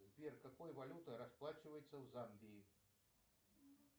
сбер какой валютой расплачиваются в замбии